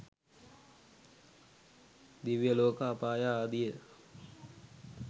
දිව්‍ය ලෝක අපාය ආදිය